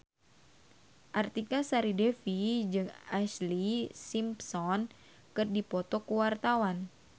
Artika Sari Devi jeung Ashlee Simpson keur dipoto ku wartawan